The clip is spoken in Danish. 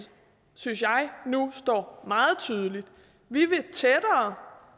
synes jeg nu står meget tydeligt vi vil tættere